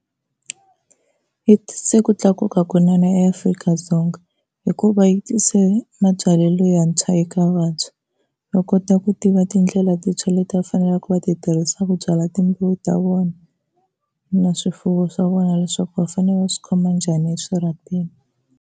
Yi tise ku tlakuka kunene eAfrika-Dzonga hikuva yi tise mabyalelo yantshwa eka vantshwa, va kota ku tiva tindlela tintshwa leti va faneleke va ti tirhisaka ku byala timbewu ta vona na swifuwo swa vona, leswaku va fanele va swi khoma njhani eswirhapeni.